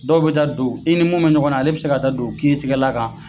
Dɔw bɛ taa don i ni mun bɛ ɲɔgɔn na ale bɛ se ka taa don kiiri tigɛla kan.